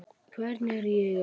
Hvern er ég að fá?